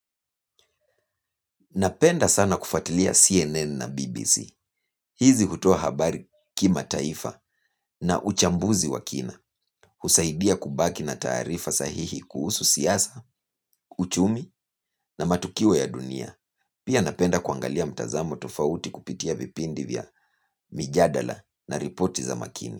Napenda sana kufatilia CNN na BBC. Hizi hutua habari kimataifa na uchambuzi wa kina. Husaidia kubaki na taarifa sahihi kuhusu siasa, uchumi na matukio ya dunia. Pia napenda kuangalia mtazamo tofauti kupitia vipindi vya mijadala na ripoti za makini.